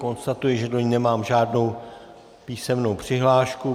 Konstatuji, že do ní nemám žádnou písemnou přihlášku.